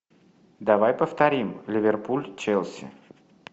давай повторим ливерпуль челси